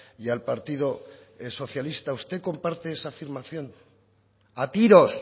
y al partido socialista usted comparte esa afirmación a tiros